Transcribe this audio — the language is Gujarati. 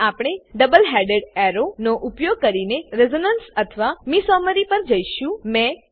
હવે આપણે ડબલ હેડેડ એરો નો ઉપયોગ કરીને રેઝોનન્સ અથવા મેસોમેરી પર જઈશું